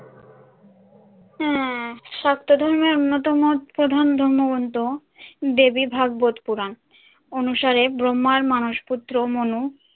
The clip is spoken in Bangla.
হ্যাঁ শাক্ত ধর্মের অন্যতম প্রধান ধর্মগ্রন্থ দেবী ভাগবত পুরাণ অনুসারে ব্রহ্মার মানসপুত্র মনু